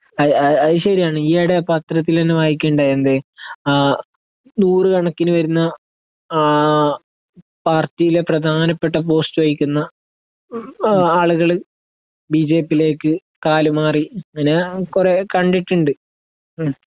അത് അത് ശരിയാണ് ഈ ഇടെ പത്രത്തില് തന്നെ വായിക്കുകയുണ്ടായി എന്ത് ആ നൂറുകണക്കിന് വരുന്ന ആ പാരട്ടിയിലെ പ്രധാനപ്പെട്ട പോസ്റ്റ് വഹിക്കുന്ന ആളുകള് ബി ജെ പി യിലേക്ക് കാല് മാറി അങ്ങനെ കുറെ കണ്ടിട്ടുണ്ട്